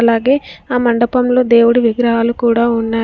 అలాగే ఆ మండపంలో దేవుడు విగ్రహాలు కూడా ఉన్నాయి.